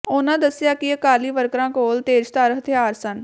ਉਨ੍ਹਾਂ ਦਸਿਆ ਕਿ ਅਕਾਲੀ ਵਰਕਰਾਂ ਕੋਲ ਤੇਜ਼ਧਾਰ ਹਥਿਆਰ ਸਨ